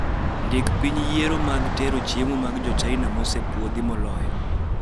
Ndik piny yiero mag tero chiemo mag jochina mosepuodhi moloyo